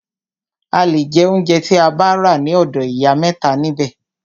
A le jẹ óunjẹ tí a bá rà ní ọ̀dọ̀ ìyá mẹ́ta nibẹ̀.